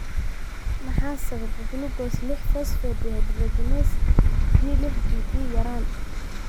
Maxaa sababa gulukoos lix phosphate dehydrogenase (G lix PD) yaraan?